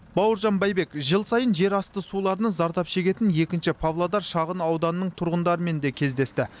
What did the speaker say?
бауыржан байбек жыл сайын жерасты суларынан зардап шегетін екінші павлодар шағын ауданының тұрғындарымен де кездесті